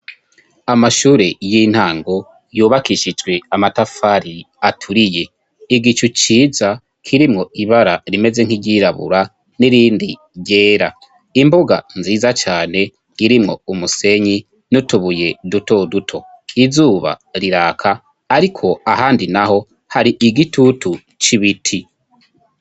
Amashure y'intango yubakishijwe amatafari aturiye; Igicu ciza kirimwo ibara rimeze nk'iryirabura n'irindi ryera; Imbuga nziza cane irimwo umusenyi n'utubuye duto duto; Izuba riraka ariko ahandi naho hari igitutu c'ibiti.